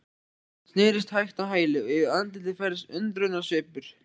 Hann snerist hægt á hæli og yfir andlitið færðist undrunarsvipur.